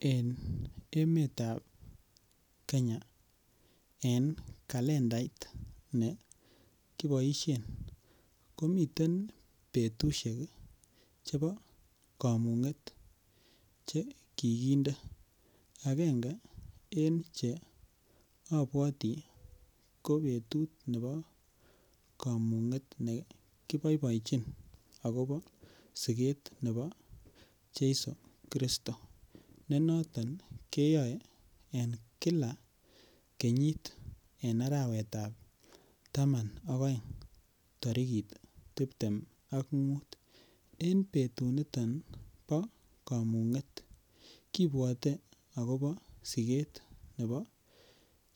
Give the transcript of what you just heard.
En emet ab Kenya en kalendait nekiboishen komiten petusiek chepo kamung'et che kiginde akenge eng' che apwoti ko petut nepo kamung'et nekipoichin akopa siget nepo cheiso kristo nenoton keyoe en kila kenyit eng' arawet ab taman ak aeng' tarikit tiptem ak mut en petut niton ko kamung'et kipwote akopa siget nepo